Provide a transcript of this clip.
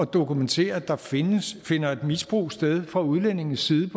dokumentere at der finder finder et misbrug sted fra udlændinges side